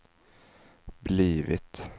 blivit